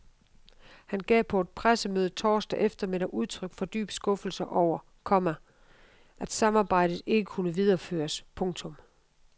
Han gav på et pressemøde torsdag eftermiddag udtryk for dyb skuffelse over, komma at samarbejdet ikke kunne videreføres. punktum